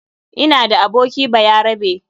Ina da aboki bayarabe.